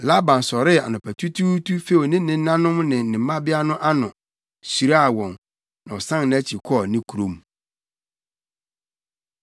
Laban sɔree anɔpatutuutu few ne nenanom ne ne mmabea no ano, hyiraa wɔn. Na ɔsan nʼakyi kɔɔ ne kurom.